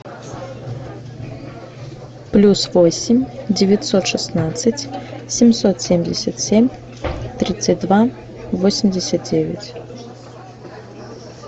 плюс восемь девятьсот шестнадцать семьсот семьдесят семь тридцать два восемьдесят девять